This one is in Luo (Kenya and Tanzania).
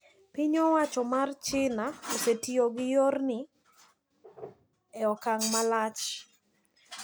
Piny owacho mar China osetiyo gi yorni e okang' malach.